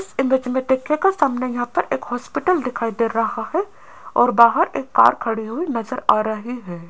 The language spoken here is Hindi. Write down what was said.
इस इमेज मे देखियेगा सामने यहाँ पर एक हॉस्पिटल दिखाई दे रहा है और बाहर एक कार खड़ी हुई नजर आ रही है।